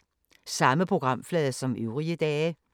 Samme programflade som øvrige dage